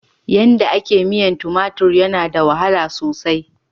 Yanda a ke miyan tumatur yana da wahala sosai.